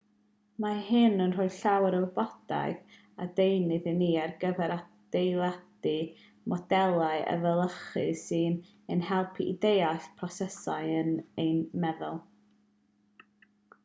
mae hyn yn rhoi llawer o wybodaeth a deunydd i ni ar gyfer adeiladu modelau efelychu sy'n ein helpu i ddeall prosesau yn ein meddwl